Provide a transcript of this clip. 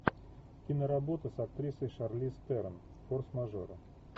киноработа с актрисой шарлиз терон форс мажоры